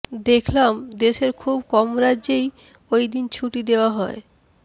দেখলাম দেশের খুব কম রাজ্যেই ওইদিন ছুটি দেওয়া হয়